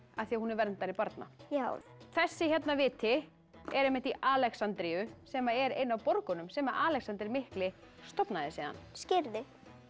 af því hún var verndari barna já þessi hérna viti er í Alexandríu sem er ein af borgunum sem Alexander mikli stofnaði síðan skírði